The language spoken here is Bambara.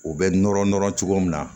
U bɛ nɔrɔ nɔrɔ cogo min na